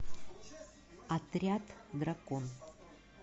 отряд дракон